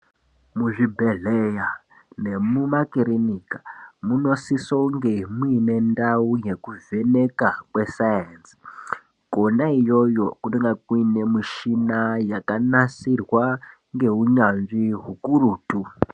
Muzvibhedhleya nemumakirinika munosise kunge mwuine ndau yekuvheneka yesainzi. Kona iyoyo kunenga kune mishina yakanasirwa ngeunyanzvi ukurutu.